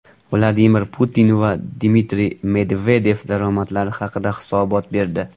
Vladimir Putin va Dmitriy Medvedev daromadlari haqida hisobot berdi.